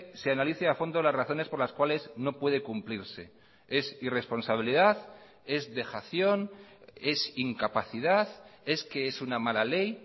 se analice a fondo las razones por las cuáles no puede cumplirse es irresponsabilidad es dejación es incapacidad es que es una mala ley